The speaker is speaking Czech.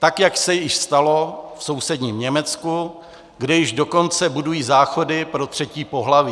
Tak jak se již stalo v sousedním Německu, kde již dokonce budují záchody pro třetí pohlaví.